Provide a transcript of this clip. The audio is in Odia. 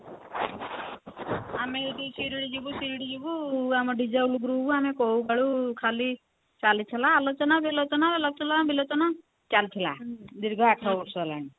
ଆମେ ଏଇଟି ଶିରିଡି ଯିବୁ ଶିରିଡି ଯିବୁ ଆମ group କୋଉ କାଳୁ ଖାଲି ଚାଲିଥିଲା ଆଲୋଚନା ଵିଲୋଚନା ଆଲୋଚନା ଵିଲୋଚନା ଚାଲିଥିଲା ଦୀର୍ଘ ଆଠ ବର୍ଷ ହେଲାଣି